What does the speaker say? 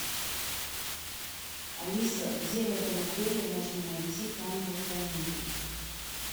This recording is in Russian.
алиса где в этом отеле можно найти камеру хранения